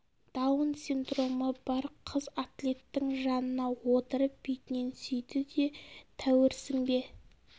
даун синдромы бар қыз атлеттің жанына отырып бетінен сүйді де тәуірсің бе